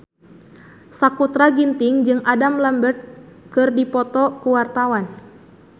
Sakutra Ginting jeung Adam Lambert keur dipoto ku wartawan